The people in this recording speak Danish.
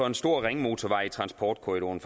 en stor ringmotorvej i transportkorridoren